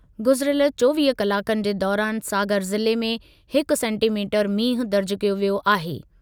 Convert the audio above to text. गुज़िरियल चोवीह कलाकनि जे दौरानि सागर ज़िले में हिकु सेंटीमीटरु मींहुं दर्जु कयो वियो आहे।